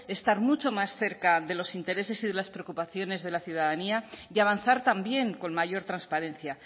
estar mucho más cerca de los intereses y de las preocupaciones de la ciudadanía y avanzar también con mayor transparencia